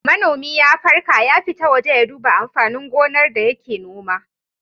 Manomi ya farka ya fita waje ya duba amfanin gonar da yake noma.